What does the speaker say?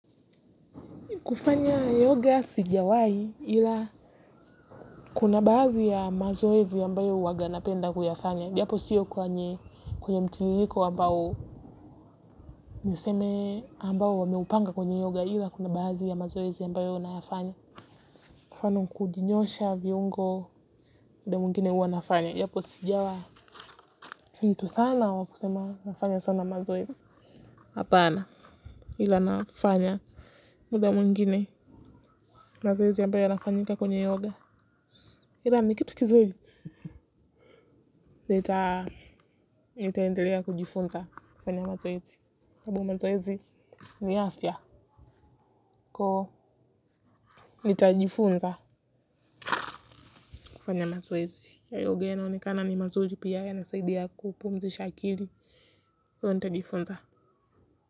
Kufanya yoga sijawai ila kuna baadhi ya mazoezi yambayo waganapenda kuyafanya. Japo siyo kwanye kwenye mtiririko ambao niseme ambao wameupanga kwenye yoga ila kuna baadhi ya mazoezi yambayo nayafanya. Kwa mfano kujinyosha viungo muda muingine uwa nafanya. Japo sijawa mtu sana wa kusema nafanya sana mazoezi. Hapana ila nafanya muda mwingine mazoezi ambayo yanafanyika kwenye yoga. Ila mi kitu kizuri nita nitaendelea kujifunza kufanya mazoezi sababu mazoezi ni afya kwa hiyo nitajifunza kufanya mazoezi ya yoga yanaonekana ni mazuri pia yanasaidia kupumzisha akili kwa hiyo nitajifunza.